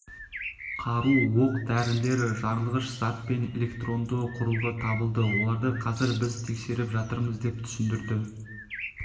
қару оқ-дәрілер жарылғыш зат пен электронды құрылғы табылды оларды қазір біз тексеріп жатырмыз деп түсіндірді